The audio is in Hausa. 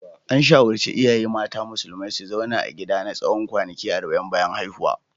An shawarci iyaye mata musulmai su zauna a gida na tsawon kwanaki arba'in bayan haihuwa.